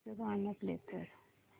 movie चं गाणं play कर